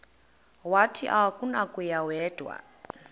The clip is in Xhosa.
wathi akunakuya wedw